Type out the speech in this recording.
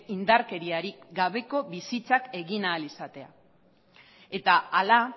indarkeriari gabeko bizitzak egin ahal izatea eta hala